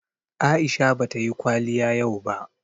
Aisha bata yi kwaliya yau ba